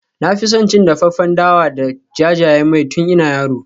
Na fi son cin dafaffen dawa da jajayen mai tun ina yaro.